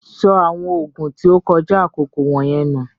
Sọ awọn oogun tí o kọja akoko wọnyẹn nù!